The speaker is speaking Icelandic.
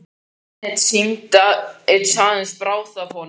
Það virðist aðeins brá af honum.